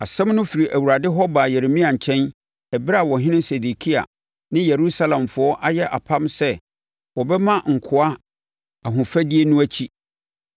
Asɛm no firi Awurade hɔ baa Yeremia nkyɛn ɛberɛ a ɔhene Sedekia ne Yerusalemfoɔ ayɛ apam sɛ wɔbɛma nkoa ahofadie no akyi.